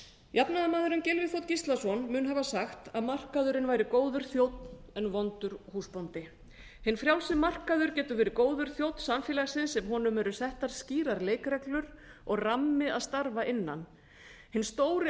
jafnaðarmaðurinn gylfi þ gíslason mun hafa sagt að markaðurinn væri góður þjónn en vondur húsbóndi hinn frjálsi markaður getur verið góður þjónn samfélagsins ef honum eru settar skýrar leikreglur og rammi að starfa innan hinn stóri